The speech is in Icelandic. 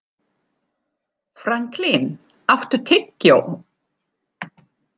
Franklin, áttu tyggjó?